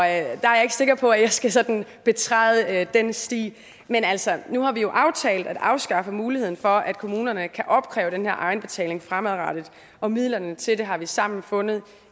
er jeg ikke sikker på at jeg skal sådan betræde den sti men altså nu har vi jo aftalt at afskaffe muligheden for at kommunerne kan opkræve den her egenbetaling fremadrettet og midlerne til det har vi sammen fundet